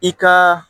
I ka